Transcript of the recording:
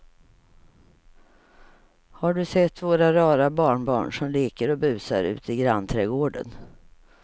Har du sett våra rara barnbarn som leker och busar ute i grannträdgården!